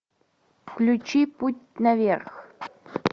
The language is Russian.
включи путь наверх